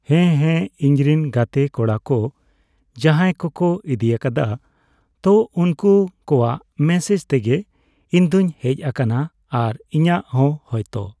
ᱦᱮᱸ ᱦᱮᱸ ᱤᱧᱨᱮᱱ ᱜᱟᱛᱮ ᱠᱚᱲᱟ ᱠᱚ ᱡᱟᱦᱟᱸᱭ ᱠᱚᱠᱚ ᱤᱫᱤᱭᱟᱠᱟᱫᱟ ᱛᱚ ᱩᱱᱠᱩ ᱠᱚᱣᱟᱝ ᱢᱮᱥᱮᱡᱽ ᱛᱮᱜᱮ ᱤᱧᱫᱚᱧ ᱦᱮᱡ ᱟᱠᱟᱱᱟ ᱟᱨ ᱤᱧᱟᱹᱜ ᱦᱚᱸ ᱦᱚᱭᱛᱚ